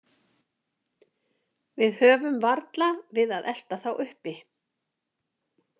Við höfum varla við að elta þá uppi.